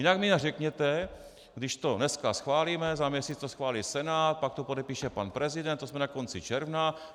Jinak mi řekněte, když to dneska schválíme, za měsíc to schválí Senát, pak to podepíše pan prezident, to jsme na konci června.